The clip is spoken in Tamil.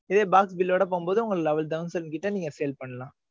இதே box bill ஓட போகும்போது, உங்க nine thousand கிட்ட நீங்க sale பண்ணலாம்.